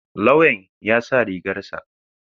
Lauyan ya sa rigar sa.